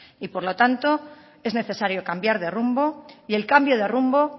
y por lo tanto es necesario cambiar de rumbo y el cambio de rumbo